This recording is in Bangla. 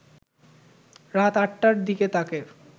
রাত ৮টার দিকে তাকে